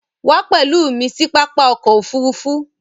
Wà pẹ̀lú mi sí pápá ọkọ̀ òfurufú!